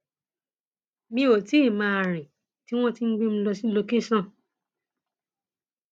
mi ò tí ì máa rìn tí wọn ti ń gbé mi lọ sí lọkẹsàn